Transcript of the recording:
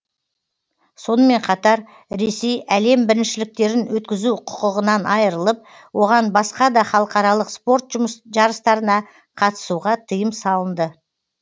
сонымен қатар ресей әлем біріншіліктерін өткізу құқығынан айрылып оған басқа да халықаралық спорт жарыстарына қатысуға тыйым салынды